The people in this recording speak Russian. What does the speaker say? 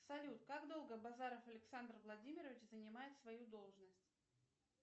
салют как долго базаров александр владимирович занимает свою должность